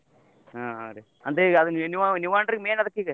ಹ್ಮ್ ಹ್ಮ್ ರೀ ಅಂದ್ರ ಅದ ನೀವ್ ನೀವ ಏನ್ ರೀ main ಅದಕ್ಕಿಗ?